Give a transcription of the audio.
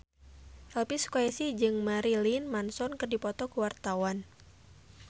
Elvy Sukaesih jeung Marilyn Manson keur dipoto ku wartawan